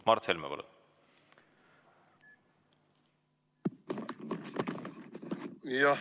Mart Helme, palun!